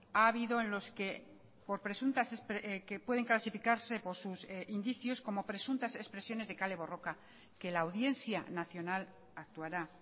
ha habido en los que por presuntas que pueden clasificarse por sus indicios como presuntas expresiones de kale borroka que la audiencia nacional actuará